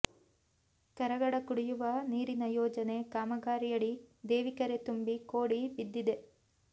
ಕರಗಡ ಕುಡಿಯುವ ನೀರಿನ ಯೋಜನೆ ಕಾಮಗಾರಿಯಡಿ ದೇವಿಕೆರೆ ತುಂಬಿ ಕೋಡಿ ಬಿದ್ದಿದೆ